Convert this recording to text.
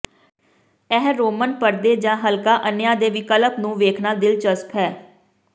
ਇਹ ਰੋਮਨ ਪਰਦੇ ਜਾਂ ਹਲਕਾ ਅੰਨ੍ਹਿਆਂ ਦੇ ਵਿਕਲਪ ਨੂੰ ਵੇਖਣਾ ਦਿਲਚਸਪ ਹੈ